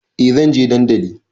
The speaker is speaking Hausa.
Eh zanje dandali